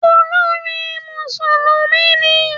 Olórin Mùsùlùmí ni.